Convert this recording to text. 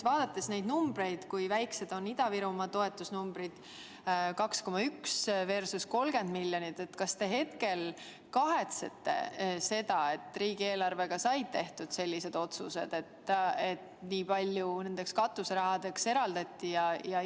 Vaadates neid numbreid, seda, kui väikesed on Ida-Virumaa toetamise numbrid – 2,1 miljonit versus 30 miljonit –, kas te kahetsete, et riigieelarve koostamisel said tehtud sellised otsused, et nii palju katuserahadeks eraldati?